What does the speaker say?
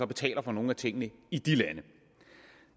betaler for nogle af tingene i de lande